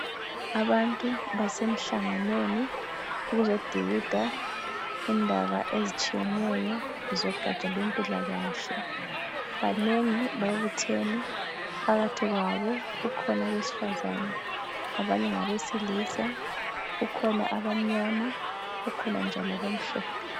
abantu basemhlanganweni ukuzodikida indaba ezitshiyeneyo zogaja lwempilakahle ibanengi babuthene phakathi kwabo kukhona abesifazane abanye ngabesilisa kukhona abamnyama kukhona njalo abamhlophe